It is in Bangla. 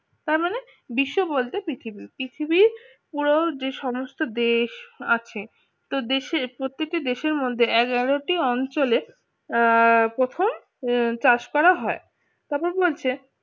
তার মানে বিশ্ব বলতে পৃথিবীতে পৃথিবী পুরো যে সমস্ত দেশ আছে তো দেশের প্রতিটি দেশের মধ্যে এগারো টি অঞ্চলে প্রথম চাষ করা হয় তবে বলছে